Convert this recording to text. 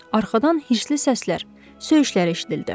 Arxadan hırslı səslər, söyüşlər eşidildi.